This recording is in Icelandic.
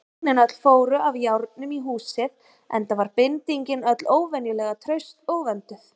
Feiknin öll fóru af járnum í húsið, enda var bindingin öll óvenjulega traust og vönduð.